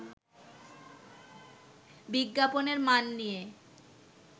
বিজ্ঞাপনের মান নিয়ে